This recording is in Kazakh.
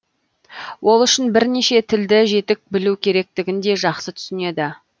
ол үшін бірнеше тілді жетік білу керектігін де жақсы түсінеді